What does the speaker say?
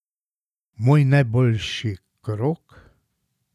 Moj najboljši krog?